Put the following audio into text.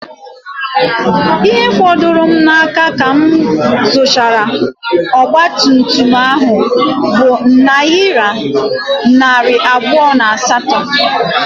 Ihe fọdụrụ m n'aka ka m zuchara ọgba tum tum ahụ bụ nayira narị abụọ na asato